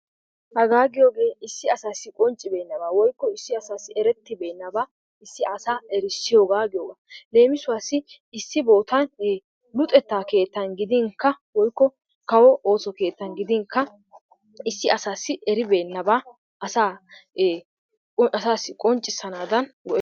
Hagaa giyogee issi asaassi qonccibeenaba woykko issi asaassi erettibeenaba issi asaa erissiyooga giyogaaa. Leemissuwassi issi bootan luxxetta keettan gidinkka woykko kawo ooso keettan gidinkka issi asaassi eribeenaba asaa ee asaassi qonccisanaadan go'eteetes.